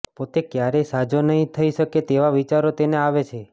પોતે ક્યારેય સાજો નહીં થઈ શકે તેવા વિચારો તેને આવે છે